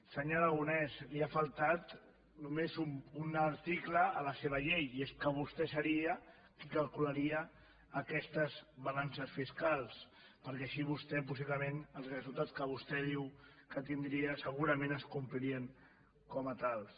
senyor aragonès li ha faltat només un article a la seva llei i és que vostè seria qui calcularia aquestes balances fiscals perquè així vostè possiblement els resultats que vostè diu que tindria segurament es complirien com a tals